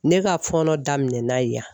Ne ka fɔnɔ daminɛ na yan